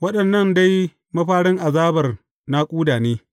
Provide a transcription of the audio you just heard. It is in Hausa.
Waɗannan dai mafarin azabar naƙuda.